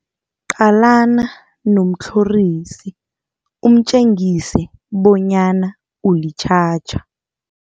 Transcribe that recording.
Qalana nomtlhorisi umtjengise bonyana ulitjhatjha.